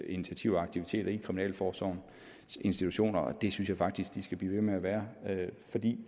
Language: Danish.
initiativer og aktiviteter i kriminalforsorgens institutioner og det synes jeg faktisk at det skal blive ved med at være fordi